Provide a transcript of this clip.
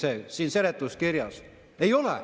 Ei ole!